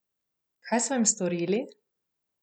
Kaj sva jim storili?